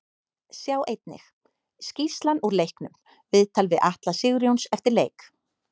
Sjá einnig: Skýrslan úr leiknum Viðtal við Atla Sigurjóns eftir leik